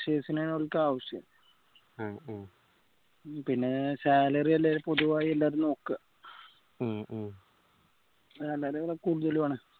freshers നെയ ഓൽക്ക് ആവശ്യം പിന്നെ salary എല്ലാം പൊതുവായി ഇതിനകത്ത് നോക്ക salary കൂടുതലാണ്